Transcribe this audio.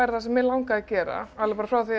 sem mig langaði að gera alveg frá því